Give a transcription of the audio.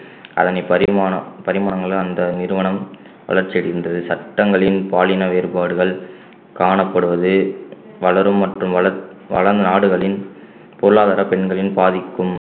அதனை பரிமாண~ பரிமாணங்களை அந்த நிறுவனம் வளர்ச்சி அடைந்தது சட்டங்களின் பாலின வேறுபாடுகள் காணப்படுவது வளரும் மற்றும் வள~ வளநாடுகளின் பொருளாதார பெண்களின் பாதிக்கும்